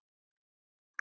Bjössi horfir á þá.